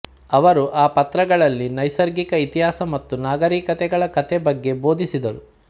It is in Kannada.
ಅವರು ಆ ಪತ್ರಗಳಲ್ಲಿ ನೈಸರ್ಗಿಕ ಇತಿಹಾಸ ಮತ್ತು ನಾಗರೀಕತೆಗಳ ಕಥೆ ಬಗ್ಗೆ ಬೋಧಿಸಿದರು